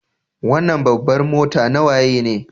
Wanan babbar mota na waye ne?